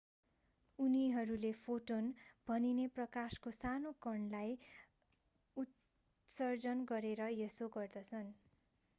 उनीहरूले फोटोन भनिने प्रकाशको सानो कणलाई उत्सर्जन गरेर यसो गर्दछन्